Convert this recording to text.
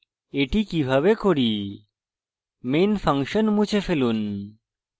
main function মুছে ফেলুন